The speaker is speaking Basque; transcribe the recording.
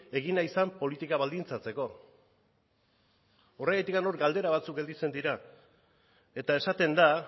egin nahi zen politika baldintzatzeko horregatik hor galdera batzuk gelditzen dira eta esaten da